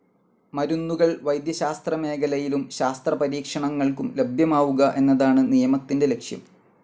മരുന്നുകൾ വൈദ്യശാസ്ത്രമേഖലയിലും ശാസ്ത്രപരീക്ഷണങ്ങൾക്കും ലഭ്യമാവുക എന്നതാണ് നിയമത്തിൻ്റെ ലക്ഷ്യം.